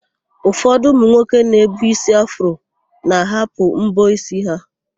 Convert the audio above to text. Ụfọdụ ụmụnwoke na-ebu ísí afro na-ahapụ m̀bọ́ n'ísí ha.